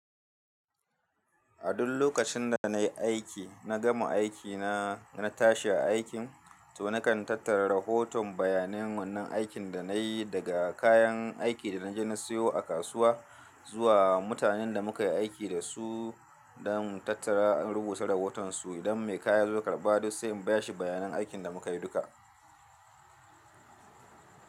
A duk lokacin da na yi aiki, na gama aiki na, na tashi a aikin to na kan tattara rahoton bayanan wannan aikin da na yi, daga kayan aiki da na je na siyo a kasuwa zuwa mutanen da muka yi aiki da su don tattara, in rubuta rahotonsu. Idan mai kaya ya zo karɓa duk sai in ba shi bayanan aikin da muka yi duka.